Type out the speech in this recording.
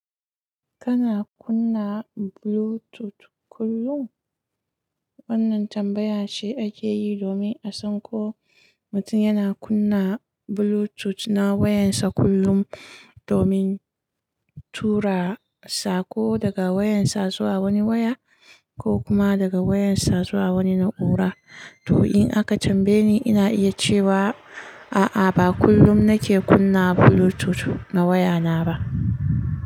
Kana kunna Bluetooth kullum? Wannan tambaya ce ake yi domin a san ko mutum yana kunna Bluetooth na wayarsa kullum domin tura saƙo daga wayarsa zuwa wani waya ko kuma daga wayarsa zuwa wani na'ura. To, in aka tambaye ni, ina iya cewa a'a, ba kullum nake kunna Bluetooth na waya na ba.